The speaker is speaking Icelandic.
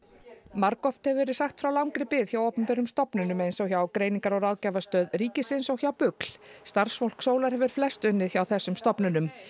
margoft hefur verið sagt frá langri bið hjá opinberum stofnununum eins og hjá Greiningar og ráðgjafarstöð ríkisins og hjá BUGL starfsfólk Sólar hefur flest unnið hjá þessum stofnunum